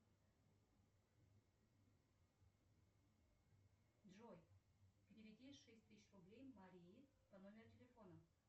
джой переведи шесть тысяч рублей марии по номеру телефона